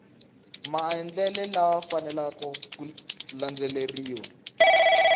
maendlelo lama faneleke ku landzeleriwa